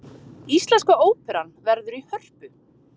Íslenska óperan verður í Hörpu